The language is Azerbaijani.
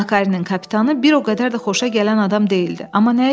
Makarinin kapitanı bir o qədər də xoşa gələn adam deyildi, amma nə etməli?